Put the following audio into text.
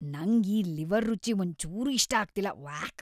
ನಂಗ್ ಈ ಲಿವರ್‌ ರುಚಿ ಒಂಚೂರೂ ಇಷ್ಟ ಆಗ್ತಿಲ್ಲ.. ವ್ಯಾಕ್!